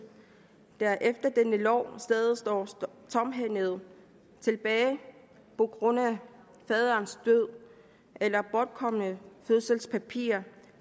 der efter denne lov stadig står tomhændede tilbage på grund af faderens død eller bortkomne fødselspapirer